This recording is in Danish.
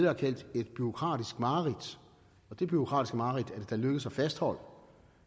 har kaldt et bureaukratisk mareridt og det bureaukratiske mareridt er det lykkedes at fastholde